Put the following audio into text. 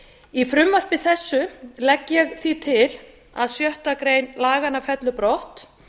í frumvarpi þessu legg ég því til að sjöttu grein laganna fellur brott